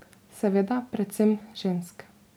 Seveda predvsem žensk.